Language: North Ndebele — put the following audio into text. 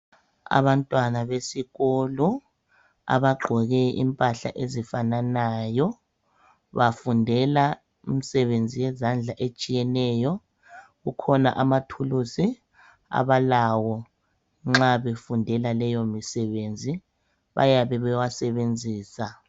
Abantwana besikolo abagqoke impahla ezifananayo bafundela imisebenzi yezandla etshiyeneyo. Kukhona amathuluzi abalawo nxa befundela leyo imisebenzi bayabe beyisebenzisa.